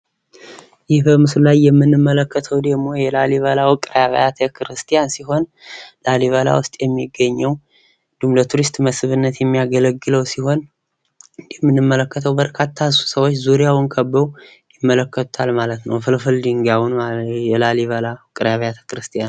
ይህ በምስሉ ላይ የምንመለከተው ደሞ የላሊበላ ውቅር አብያተ ክርስቲያን ሲሆን ላሊበላ ውስጥ የሚገኘው ለቱሪስት መስብነት የሚያገለግለው ሲሆን እንደምንመለከተው በርካታ ሰዎች ዙርያውን ከበው ይመለከቱታል ማለት ነው። ፍልፍል ድጋዩን የላሊበላ ውቅር አብያተ ክርስቲያኑን።